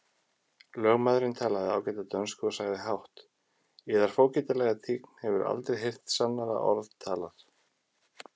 Lögmaðurinn talaði ágæta dönsku og sagði hátt:-Yðar fógetalega tign hefur aldrei heyrt sannara orð talað!